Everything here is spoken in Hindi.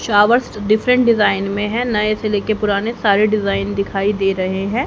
शॉवर्स डिफरेंट डिजाइन में हैं नए से ले के पुराने सारे डिजाइन दिखाई दे रहे हैं।